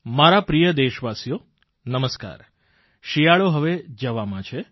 મારા પ્રિય દેશવાસીઓ નમસ્કાર શિયાળો હવે જવામાં છે